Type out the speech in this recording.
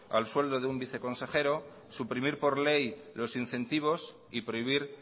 al sueldo de un viceconsejero suprimir por ley los incentivos y prohibir